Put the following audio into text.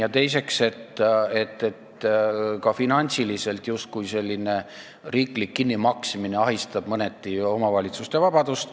Ja teiseks, ka finantsiliselt ahistab selline riiklik kinnimaksmine mõneti omavalitsuste vabadust.